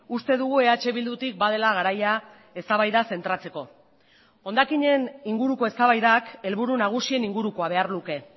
uste dugu eh bildutik badela garaia eztabaida zentratzeko hondakinen inguruko eztabaidak helburu nagusien ingurukoa behar luke